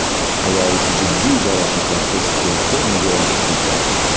Ayol jiddiy jarohatlarsiz platformaga olib chiqilgan.